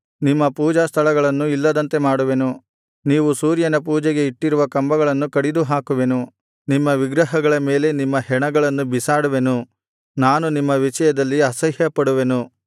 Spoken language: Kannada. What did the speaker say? ನಿಮ್ಮ ಪೂಜಾಸ್ಥಳಗಳನ್ನು ಇಲ್ಲದಂತೆ ಮಾಡುವೆನು ನೀವು ಸೂರ್ಯನ ಪೂಜೆಗೆ ಇಟ್ಟಿರುವ ಕಂಬಗಳನ್ನು ಕಡಿದುಹಾಕುವೆನು ನಿಮ್ಮ ವಿಗ್ರಹಗಳ ಮೇಲೆ ನಿಮ್ಮ ಹೆಣಗಳನ್ನು ಬೀಸಾಡುವೆನು ನಾನು ನಿಮ್ಮ ವಿಷಯದಲ್ಲಿ ಅಸಹ್ಯಪಡುವೆನು